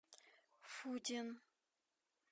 фудин